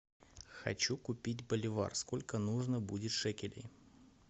хочу купить боливар сколько нужно будет шекелей